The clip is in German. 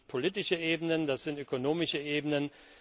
Das sind politische Ebenen, das sind ökonomische Ebenen.